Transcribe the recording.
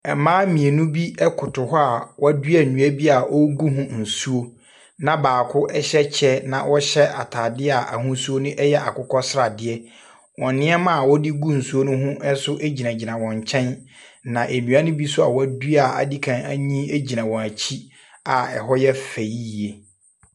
Mmaa mmienu bi koto hɔ a wɔadua nnua bi a wɔregu ho nsuo, na baako hyɛ kyɛ na ɔhyɛ atadeɛ a ahosuo no yɛ akokɔsradeɛ. Wɔn nneɛma a wɔde gu nsuo no ho. nso gyinagyina wɔn nkyɛn. Na dua no bo nso a wɔadua a adi kan anyini gyina wɔn akyi a ɛhɔ yɛ fɛ yie.